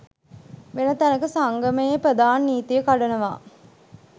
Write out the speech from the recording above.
වෙන තැනක සංගමයේ ප්‍රධාන නීතිය කඩනවා